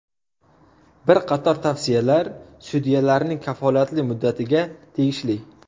Bir qator tavsiyalar sudyalarning kafolatli muddatiga tegishli.